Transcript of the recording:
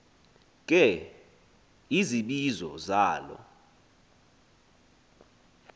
ke izibizo zalo